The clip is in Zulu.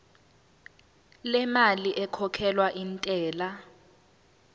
lemali ekhokhelwa intela